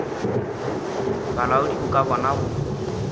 bolaodi bo ka bona go